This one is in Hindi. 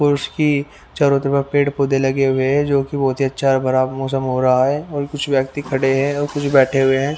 और उसकी चारों तरफ में पेड़-पौधे लगे हुए जो की बहुत ही अच्छा है। बराबर मौसम हो रहा है और कुछ व्यक्ति खड़े हैं और कुछ बैठे हुए हैं।